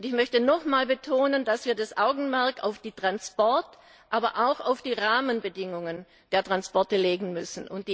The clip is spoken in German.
Und ich möchte noch einmal betonen, dass wir das Augenmerk auf die Transportbedingungen, aber auch auf die Rahmenbedingungen der Transporte legen müssen.